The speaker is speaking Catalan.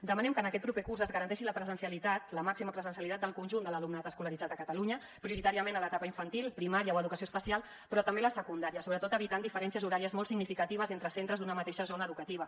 demanem que en aquest proper curs es garanteixi la presencialitat la màxima presencialitat del conjunt de l’alumnat escolaritzat a catalunya prioritàriament a l’etapa infantil primària o educació especial però també a la secundària sobretot evitant diferències horàries molt significatives entre centres d’una mateixa zona educativa